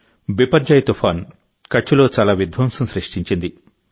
బిపార్జాయ్ తుఫాను కచ్లో చాలా విధ్వంసం సృష్టించింది